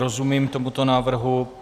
Rozumím tomuto návrhu.